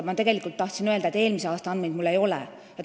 Ma tegelikult tahtsin öelda, et eelmise aasta andmeid mul ei ole.